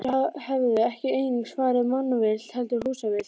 Þeir hefðu ekki einungis farið mannavillt, heldur húsvillt líka.